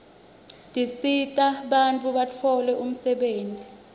tisita bantfu batfole umsebenti